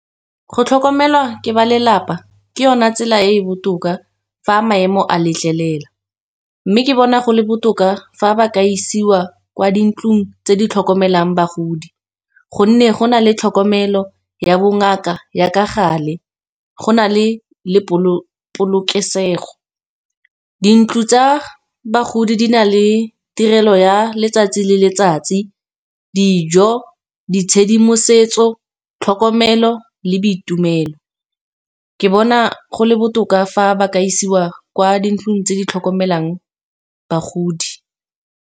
go tlhokomelwa ke ba lelapa ke yona tsela e e botoka fa maemo a letlelela. Mme ke bona go le botoka fa ba ka isiwa kwa dintlong tse di tlhokomelang bagodi, gonne go na le tlhokomelo ya bongaka ya ka gale, go na le polokesego. Di ntlo tsa bagodi di na le tirelo ya letsatsi le letsatsi, dijo, di tshedimosetso, tlhokomelo le boitumelo. Ke bona go le botoka fa ba ka isiwa kwa dintlong tse di tlhokomelang bagodi.